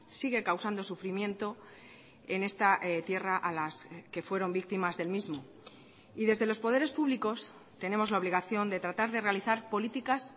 sigue causando sufrimiento en esta tierra a las que fueron víctimas del mismo y desde los poderes públicos tenemos la obligación de tratar de realizar políticas